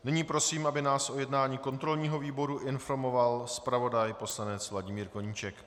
Nyní prosím, aby nás o jednání kontrolního výboru informoval zpravodaj poslanec Vladimír Koníček.